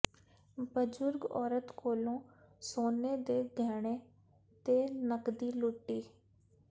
ਬਜ਼ੁਰਗ ਔਰਤ ਕੋਲੋਂ ਸੋਨੇ ਦੇ ਗਹਿਣੇ ਤੇ ਨਕਦੀ ਲੁੱਟੀ